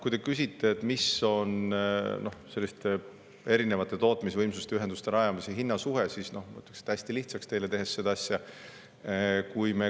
Kui te küsite, mis on erinevate tootmisvõimsuste ja ühenduste rajamise hinna suhe, siis ma hästi lihtsaks teile selle asja teha.